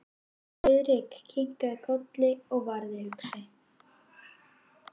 Friðrik kinkaði kolli og varð hugsi.